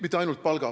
Aitäh!